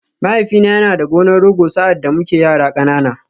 Mahaifina yana da gonar Rogo sa’ad da muke yara ƙanana.